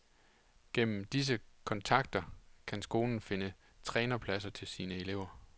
Gennem disse kontakter kan skolen finde trænerpladser til sine elever.